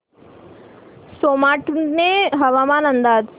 सोमाटणे हवामान अंदाज